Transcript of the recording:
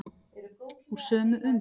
Úr sömu und.